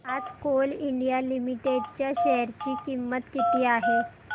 आज Coal India Limited च्या share ची किंमत किती आहे